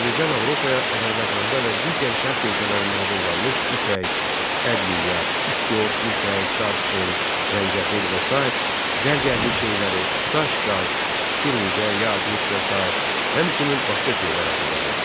Təbrizdən Avropaya Azərbaycanda və digər Şərq ölkələrində hazırlanmış ipək, ədviyyat, istiot, mixək, darçın, zəncəfil və sair zərgərlik şeyləri, daş-qaş, firuzə, yaqut və sair, həmçinin başqa şeylər aparılırdı.